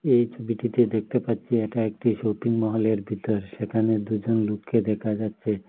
এই ছবিটিতে দেখতে পাচ্ছি এটা একটি শপিং মহলের ভিতর সেখানে দুজন লোককে দেখা যাচ্ছে।